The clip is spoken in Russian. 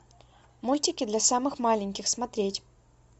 мультики для самых маленьких смотреть